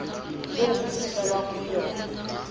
eo ho fihlwang ho yona